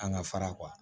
An ka fara